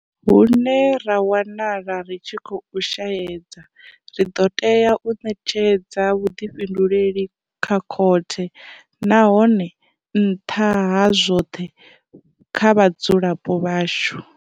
Hune ra wanala ri tshi khou shaedza, ri ḓo tea u ṋetshedza vhuḓifhinduleli kha khothe, nahone nṱha ha zwoṱhe, kha vhadzulapo vhashu.